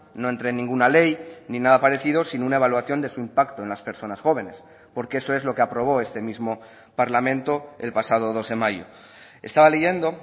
no entre ninguna ley ni nada parecido sin una evaluación de su impacto en las personas jóvenes porque eso es lo que aprobó este mismo parlamento el pasado dos de mayo estaba leyendo